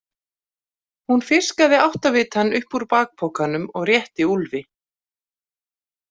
Hún fiskaði áttavitann upp úr bakpokanum og rétti Úlfi.